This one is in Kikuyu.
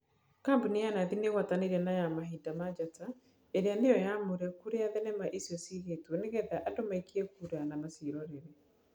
Kambuni ya Nathi nĩgũatanĩire na ya mahinda ma Njata ĩrĩa nĩyo nyamũre kũrĩa thenema icio ciigĩtwo nĩgetha andũ maikie kura na maciirorere.